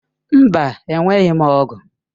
Mba enweghị m ọ̀gu.